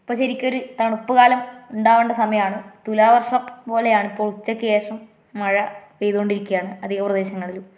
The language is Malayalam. ഇപ്പൊ ശരിക്കൊരു തണുപ്പ് കാലം ഉണ്ടാവേണ്ട സമയമാണ്. തുലാവർഷം പോലെയാണ് ഇപ്പൊ ഉച്ചക്ക് ശേഷം മഴ പെയ്തോണ്ടിരിക്കയാണ് അധിക പ്രദേശങ്ങളിലും.